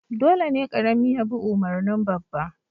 Dole ne karami ya bi umarnin babba